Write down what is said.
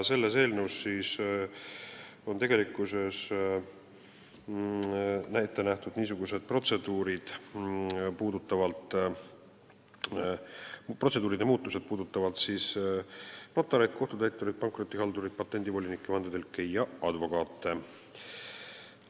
Eelnõus on ette nähtud muuta protseduure, mis puudutavad notareid, kohtutäitureid, pankrotihaldureid, patendivolinikke, vandetõlke ja advokaate.